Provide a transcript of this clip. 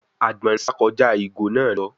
Àgbọ̀nrín sà kọjá ìgò náà lọ.